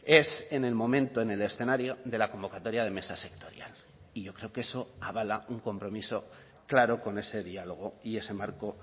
es en el momento en el escenario de la convocatoria de mesa sectorial y yo creo que eso avala un compromiso claro con ese diálogo y ese marco